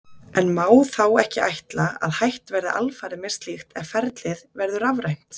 En má þá ekki ætla að hætt verði alfarið með slíkt ef ferlið verður rafrænt?